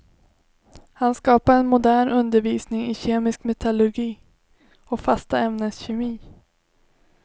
Han skapade en modern undervisning i kemisk metallurgi och fasta ämnens kemi.